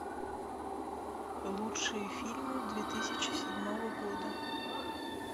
лучшие фильмы две тысячи седьмого года